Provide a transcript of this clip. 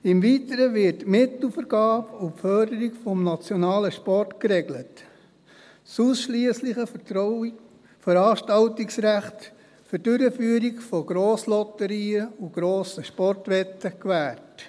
Im Weiteren werden die Mittelvergabe und die Förderung des nationalen Sports geregelt und das ausschliessliche Veranstaltungsrecht für die Durchführung von Grosslotterien und grossen Sportwetten gewährt.